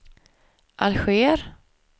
Alger